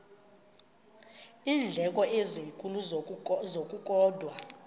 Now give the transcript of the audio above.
iindleko ezinkulu ngokukodwa